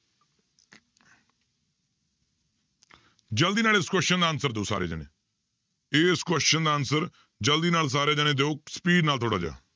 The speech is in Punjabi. ਜ਼ਲਦੀ ਨਾਲ ਇਸ question ਦਾ answer ਦਿਓ ਸਾਰੇ ਜਾਣੇ, ਜੇ ਇਸ question ਦਾ answer ਜ਼ਲਦੀ ਨਾਲ ਸਾਰੇ ਜਾਣੇ ਦਿਓ speed ਨਾਲ ਥੋੜ੍ਹਾ ਜਿਹਾ।